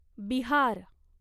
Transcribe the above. Bihar